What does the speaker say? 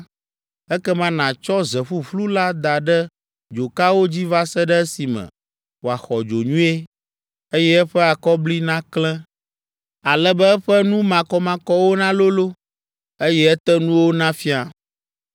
Ekema nàtsɔ ze ƒuƒlu la da ɖe dzokawo dzi va se ɖe esime wòaxɔ dzo nyuie, eye eƒe akɔbli naklẽ, ale be eƒe nu makɔmakɔwo nalolo, eye etenuwo nafia.